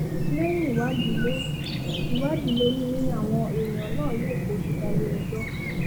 lẹ́yìn ìwádìí ló ìwádìí ló ní àwọn èèyàn náà yóò fojú balẹ̀-ẹjọ́